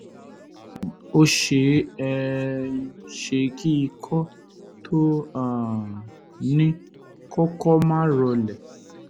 um ó ṣeé um ṣe kí ikọ́ tó o um ní kọ́kọ́ máa rọlẹ̀